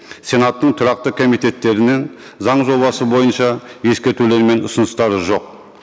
сенаттың тұрақты комитеттерінен заң жобасы бойынша ескертулер мен ұсыныстары жоқ